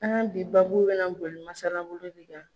An ka bi baabu bɛ na boli masala bolo de kan